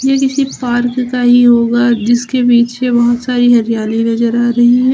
यह किसी पार्क का ही होगा जिसके पीछे बहुत सारी हरियाली नजर आ रही है।